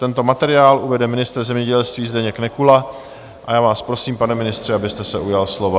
Tento materiál uvede ministr zemědělství Zdeněk Nekula a já vás prosím, pane ministře, abyste se ujal slova.